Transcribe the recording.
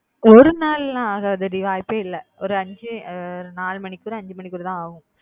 ஒரு நாள் லாம் ஆகாது டி வாய்ப்பே இல்ல ஒரு அஞ்சி நாலு மணிக்குள்ள அஞ்சு மணிக்குள்ள தான் ஆகும்